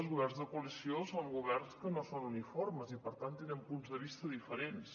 els governs de coalició són governs que no són uniformes i per tant tenen punts de vista diferents